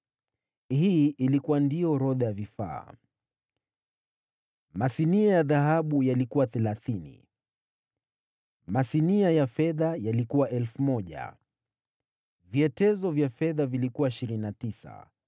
Hii ilikuwa ndio orodha ya vifaa: masinia ya dhahabu yalikuwa 30 masinia ya fedha yalikuwa 1,000 vyetezo vya fedha vilikuwa 29